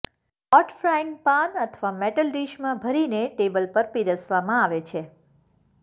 hot frying pan અથવા metal ડીશમાં ભરીને ટેબલ પર પીરસવામાં આવે છે